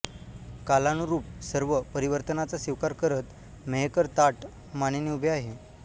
कालानुरूप सर्व परिवर्तनाचा स्वीकार करत मेहकर ताठ मानेने उभे आहे